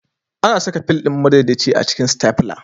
Ana saka fil ɗin madaidaici a cikin Stafla